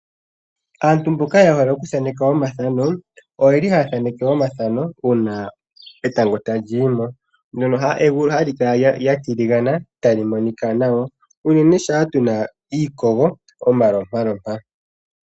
Aantu mboka yehole okuthaaneka omathano, oyeli haya thaaneke omathano uuna etango tali yimo, mono egulu hali kala lya tiligana, tali monika nawa, unene shampa kuna iikogo omalopalopa.